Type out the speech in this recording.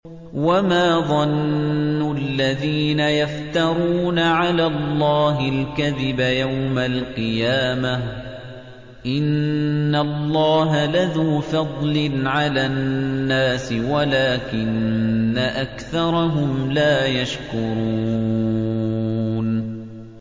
وَمَا ظَنُّ الَّذِينَ يَفْتَرُونَ عَلَى اللَّهِ الْكَذِبَ يَوْمَ الْقِيَامَةِ ۗ إِنَّ اللَّهَ لَذُو فَضْلٍ عَلَى النَّاسِ وَلَٰكِنَّ أَكْثَرَهُمْ لَا يَشْكُرُونَ